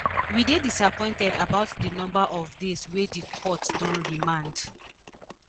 we dey disappointed about di number of days wey di court don remand